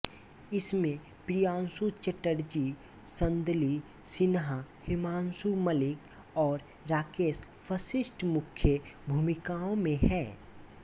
इसमें प्रियांशु चटर्जी संदली सिन्हा हिमांशु मलिक और राकेश वशिष्ठ मुख्य भूमिकाओं में हैं